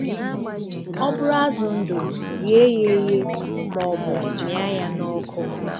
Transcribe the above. Ọ bụrụ̀ azụ̀ ndụ̀, ghee ya èghee ma ọ̀bụ̀ mịa ya n’ọ́kụ́.